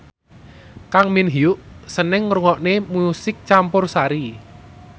Kang Min Hyuk seneng ngrungokne musik campursari